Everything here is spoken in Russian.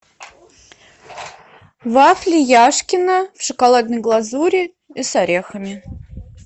вафли яшкино в шоколадной глазури и с орехами